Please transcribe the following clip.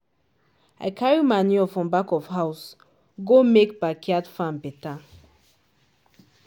i carry manure from back of house go make backyard farm better